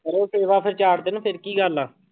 ਕਰੋ ਸੇਵਾ ਫਿਰ ਚਾਰ ਦਿਨ ਫਿਰ ਕੀ ਗੱਲ ਆ।